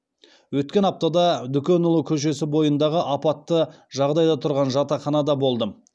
өткен аптада дүкенұлы көшесі бойындағы апатты жағдайда тұған жатақханада болдым